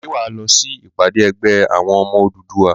Ṣé wà á lọ sí ìpàdé ẹgbẹ́ àwọn ọmọ Odùduwà?